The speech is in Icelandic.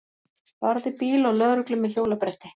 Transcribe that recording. Barði bíl og lögreglu með hjólabretti